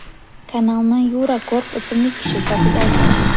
Kanalni Yura Korb ismli kishi sotib oldi.